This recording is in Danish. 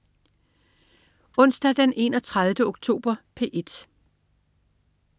Onsdag den 31. oktober - P1: